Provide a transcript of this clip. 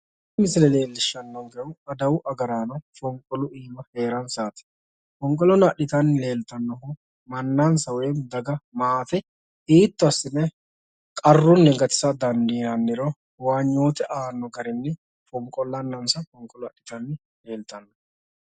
Tini misile leellishshannonkehu adawu agaraano fonqolu iima heeransaati fonqolono adhitanni leeltannohu mannansa woy daga maate hiitto assine qarrunni gatisa dandiinanniro huwanyoote aanno garinni fonqollannansa fonqolo adhitanni leeltanno